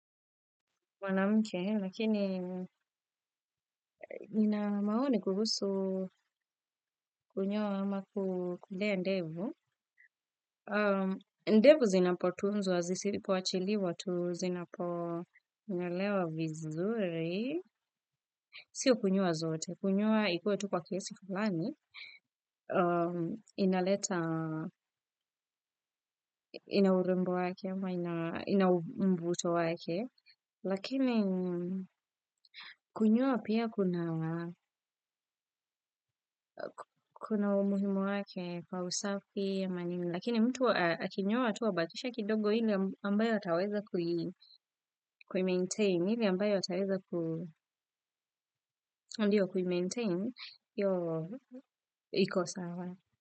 Mwanamke, lakini nina maoni kuhusu kunyoa ama kulea ndevu. Ndevu zinapotunzwa, zisipoachiliwa tu, zinaponyolewa vizuri. Siyo kunyoa zote, kunyoa ikuwe tu kwa kiasi fulani, inaleta, ina urembo wake, ama ina mvuto wake. Lakini kunyoa pia kuna kuna umuhimu wake kwa usafi ama nini lakini mtu akinyoa tu abakishe kidogo ile ambayo ataweza kuimaintain ile ambayo ataweza kuimaintain hiyo iko sawa.